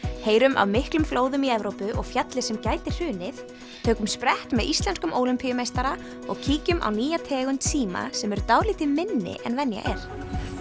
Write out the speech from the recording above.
heyrum af miklum flóðum í Evrópu og fjalli sem gæti hrunið tökum sprett með íslenskum Ólympíumeistara og kíkjum á nýja tegund síma sem eru dálítið minni en venja er